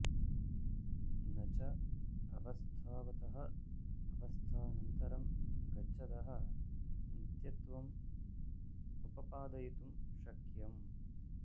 न च अवस्थावतः अवस्थान्तरं गच्छतः नित्यत्वं उपपादयितुं शक्यम्